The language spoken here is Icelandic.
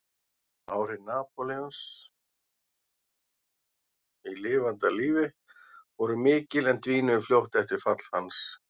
Áhrif Napóleons í lifanda lífi voru mikil en dvínuðu fljótt eftir fall hans.